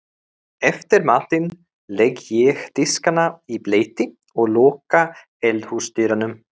Eftir matinn legg ég diskana í bleyti og loka eldhúsdyrunum.